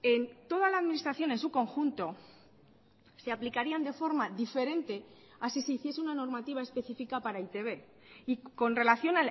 en toda la administración en su conjunto se aplicarían de forma diferente así se hiciese una normativa específica para e i te be y con relación